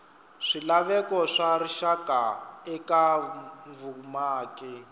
swilaveko swa rixaka eka vumaki